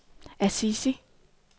Assisi